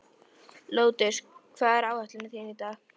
Lótus, hvað er á áætluninni minni í dag?